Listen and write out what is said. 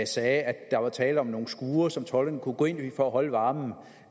sagde at der var tale om nogle skure som tolderne kunne gå ind i for at holde varmen